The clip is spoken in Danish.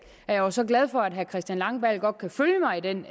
er så glad for at herre christian langballe godt kan følge mig i den